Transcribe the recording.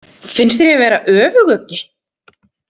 Finnst þér ég vera öfuguggi?